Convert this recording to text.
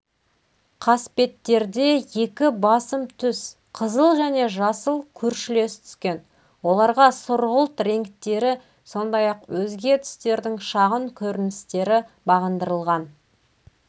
қасбеттерде екі басым түс қызыл және жасыл көршілес түскен оларға сұрғылт реңктері сондай-ақ өзге түстердің шағын көріністері бағындырылған